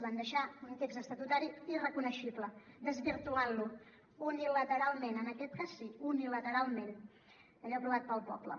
van deixar un text estatutari irreconeixible desvirtuant lo unilateralment en aquest cas sí unilateralment allò aprovat pel poble